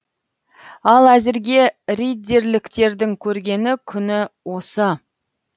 ал әзірге риддерліктердің көргені күні осы